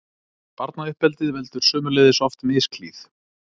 Barnauppeldið veldur sömuleiðis oft misklíð.